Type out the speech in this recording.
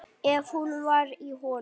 Ef hún var í honum.